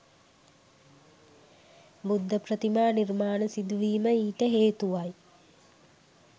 බුද්ධ ප්‍රතිමා නිර්මාණ සිදුවීම ඊට හේතුවයි.